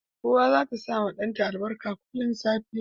Uwa zata sawa dan ta albarka kullun da safe